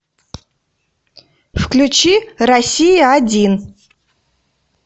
включи россия один